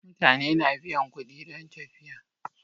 Mutane na biyan kuɗi don tafiya.